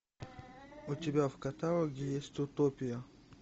у тебя в каталоге есть утопия